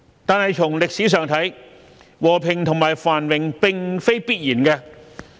但從歷史上看，和平和繁榮並非必然。